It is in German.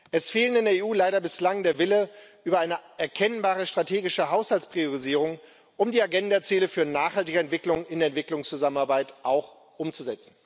Es fehlt in der EU leider bislang der Wille, über eine erkennbare strategische Haushaltspriorisierung, um die Ziele der Agenda für nachhaltige Entwicklung auch in Entwicklungszusammenarbeit umzusetzen.